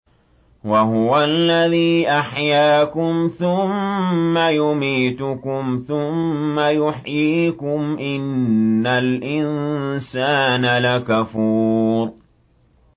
وَهُوَ الَّذِي أَحْيَاكُمْ ثُمَّ يُمِيتُكُمْ ثُمَّ يُحْيِيكُمْ ۗ إِنَّ الْإِنسَانَ لَكَفُورٌ